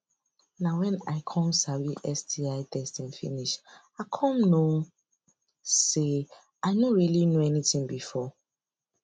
na when i come sabi sti testing finish i come know say i no really know anything before